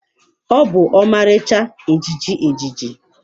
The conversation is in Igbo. Ọ bụ ọmarịcha ejiji ejiji.